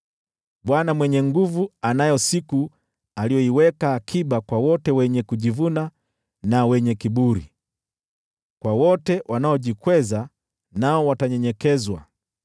Bwana Mwenye Nguvu Zote anayo siku aliyoiweka akiba kwa wote wenye kujivuna na wenye kiburi, kwa wote wanaojikweza (nao watanyenyekezwa),